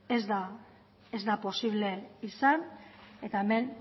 ez da posible izan eta hemen